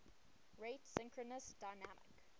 rate synchronous dynamic